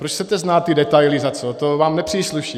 Proč chcete znát ty detaily, za co, to vám nepřísluší.